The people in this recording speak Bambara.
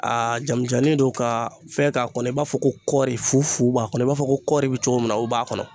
A jamijannin don kaa fɛn k'a kɔnɔ i b'a fɔ ko kɔɔri fu fu b'a kɔnɔ i b'a fɔ ko kɔɔri be cogo min na o b'a kɔnɔ.